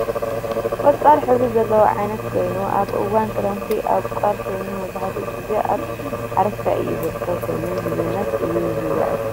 ቆፃል ሕብሪ ዘለዎ ዓይነት ኮይኑ ኣብ እዋን ክረምቲ እቦቅል ኮይኑ መብዛሕትኡ ግዜ ኣብ ሓረስታይ እዩ ዝርከብ ኮይኑ ንምግብነት እዩ ዝውዕል።